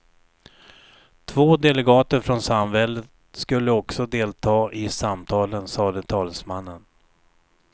Två delegater från samväldet skulle också delta i samtalen, sade talesmannen.